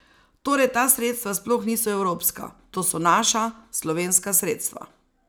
Torej ta sredstva sploh niso evropska, to so naša, slovenska sredstva.